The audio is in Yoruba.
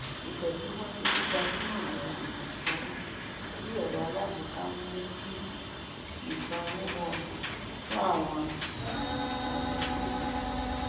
ìtẹsíwájú gbígbajúmọ àwọn ọnà ìsanwó orí ẹrọ alágbèéká ń mú kí ìṣòwò rọrùn fún àwọn ènìyàn káríayé